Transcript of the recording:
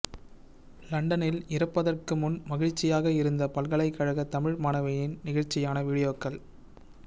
லண்டனில் இறப்பதற்கு முன் மகிழ்ச்சியாக இருந்த பல்கலைக்கழக தமிழ் மாணவியின் நெகிழ்ச்சியான வீடியோக்கள்